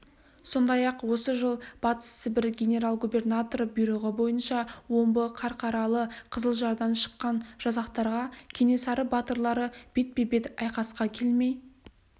сондай-ақ осы жыл батыс сібір генерал-губернаторы бұйрығы бойынша омбы қарқаралы қызылжардан шыққан жасақтарға кенесары батырлары бетпе-бет айқасқа келмей